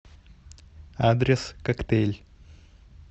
адрес коктейль